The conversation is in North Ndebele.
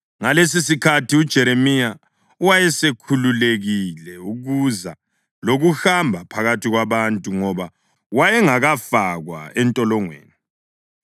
Ngalesisikhathi uJeremiya wayesekhululekile ukuza lokuhamba phakathi kwabantu, ngoba wayengakafakwa entolongweni.